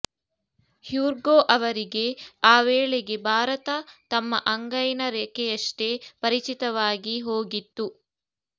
ಹ್ಯೂರ್ಗೋ ಅವರಿಗೆ ಆ ವೇಳೆಗೆ ಭಾರತ ತಮ್ಮ ಅಂಗೈನ ರೇಖೆಯಷ್ಟೇ ಪರಿಚಿತವಾಗಿ ಹೋಗಿತ್ತು